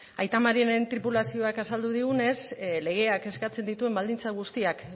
aita mariren tripulazioak azaldu digunez legeak eskatzen dituen baldintza guztiak